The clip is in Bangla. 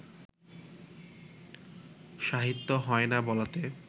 সাহিত্য হয় না বলাতে